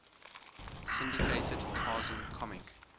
syndicated tarzan comic